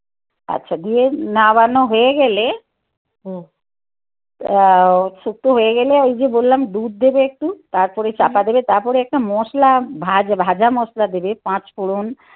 আচ্ছা দিয়ে না বানানো হয়ে গেলে হুম শুক্ত হয়ে গেলে ওই যে বললাম দুধ দেবে একটু. তারপরে চাপা দেবে. তারপরে একটা মশলা ভাঁজ ভাজা মশলা দেবে. পাঁচ ফোড়ন.